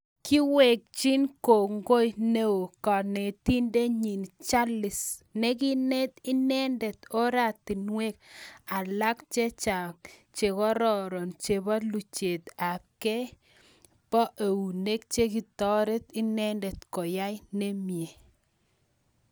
Kewekchi kongoi neo kanetindet nyiin jalis nekineet inendet ortinwek alak chechang chekororon chepo luchet ab kei poo eunek chekitoret inendet koyai nimie